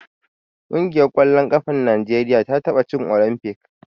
Ƙungiyar ƙwallon ƙafar Najeriya ta taɓa cin Olimfik.